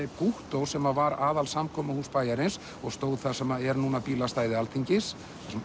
Gúttó sem var aðalsamkomuhús bæjarins og stóð þar sem er núna bílastæði Alþingis